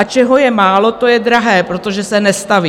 A čeho je málo, to je drahé, protože se nestaví.